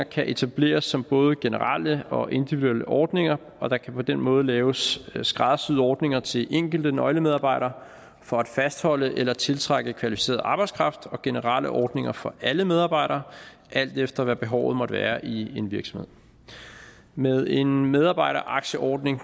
kan etableres som både generelle og individuelle ordninger og der kan på den måde laves skræddersyede ordninger til enkelte nøglemedarbejdere for at fastholde eller tiltrække kvalificeret arbejdskraft og generelle ordninger for alle medarbejdere alt efter hvad behovet måtte være i en virksomhed med en medarbejderaktieordning